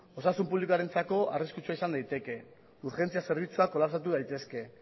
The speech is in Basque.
osasun publikoarentzako arriskutsua izan daiteke urgentzia zerbitzuak kolapsatu daitezke